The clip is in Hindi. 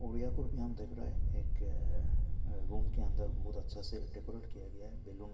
और यहां पर भी हम देख रहे है एक रूम के अंदर एक बहुत अच्छा से डेकोरेट किया गया है बैलून --